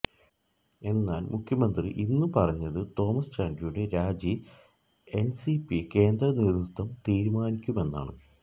എന്നാല് മുഖ്യമന്ത്രി ഇന്നു പറഞ്ഞത് തോമസ് ചാണ്ടിയുടെ രാജി എന്സിപി കേന്ദ്ര നേതൃത്വം തീരുമാനിക്കുമെന്നാണ്